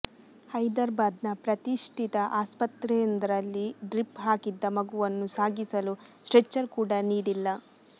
ಹೈದ್ರಾಬಾದ್ ನ ಪ್ರತಿಷ್ಠಿತ ಆಸ್ಪತ್ರೆಯೊಂದರಲ್ಲಿ ಡ್ರಿಪ್ ಹಾಕಿದ್ದ ಮಗುವನ್ನು ಸಾಗಿಸಲು ಸ್ಟ್ರೆಚರ್ ಕೂಡ ನೀಡಿಲ್ಲ